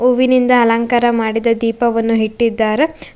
ಹೂವಿನಿಂದ ಅಲಂಕಾರ ಮಾಡಿದ ದೀಪವನ್ನು ಇಟ್ಟಿದ್ದಾರ.